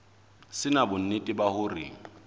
se na bonnete ba hore